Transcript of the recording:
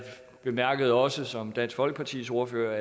bemærkede også som dansk folkepartis ordfører